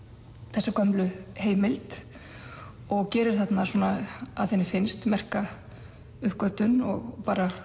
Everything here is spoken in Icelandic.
þessa gömlu heimild og gerir þarna að henni finnst merka uppgötvun og bara